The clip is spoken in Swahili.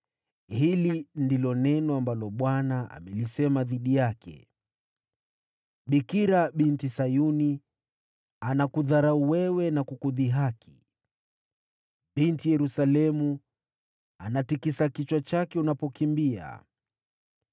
Hili ndilo neno ambalo Bwana amelisema dhidi yake: “ ‘Bikira Binti Sayuni anakudharau na kukudhihaki. Binti Yerusalemu anatikisa kichwa chake unapokimbia.